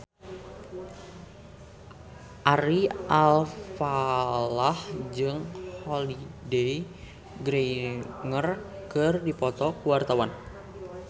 Ari Alfalah jeung Holliday Grainger keur dipoto ku wartawan